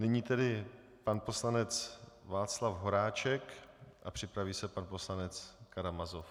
Nyní tedy pan poslanec Václav Horáček a připraví se pan poslanec Karamazov.